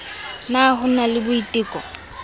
na ho ba le boitelo